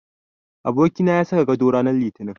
Abokina ya saka gado rananr Litinin.